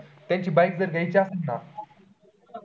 त्यांची bike जर घ्यायची असेल ना